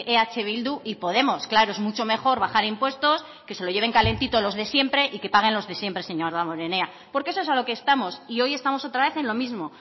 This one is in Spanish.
eh bildu y podemos claro es mucho mejor bajar impuestos que se lo lleven calentito los de siempre y que paguen los de siempre señor damborenea porque a eso es a lo que estamos y hoy estamos otra vez en lo mismo